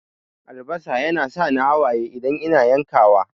Albasa yana sa ni hawaye idan ina yankawa.